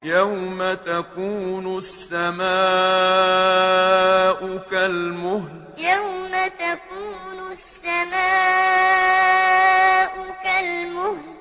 يَوْمَ تَكُونُ السَّمَاءُ كَالْمُهْلِ يَوْمَ تَكُونُ السَّمَاءُ كَالْمُهْلِ